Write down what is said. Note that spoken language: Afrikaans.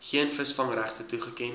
geen visvangregte toegeken